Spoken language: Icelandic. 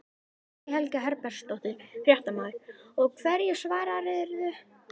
Guðný Helga Herbertsdóttir, fréttamaður: Og hverju svararðu?